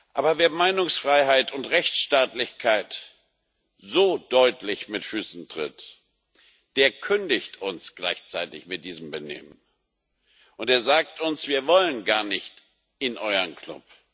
Aber wer Meinungsfreiheit und Rechtsstaatlichkeit so deutlich mit Füßen tritt, der kündigt uns gleichzeitig mit diesem Benehmen, und er sagt uns Wir wollen gar nicht in euren Club.